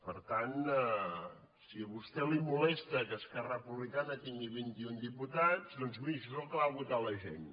per tant si a vostè li moles·ta que esquerra republicana tingui vint·i·un diputats doncs miri això és el que va votar la gent